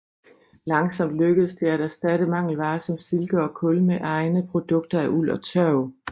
Langsomt lykkedes det at erstatte mangelvarer som silke og kul med egne produkter af uld og tørv